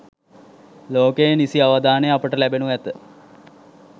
ලෝකයේ නිසි අවධානය අපට ලැබෙනු ඇත.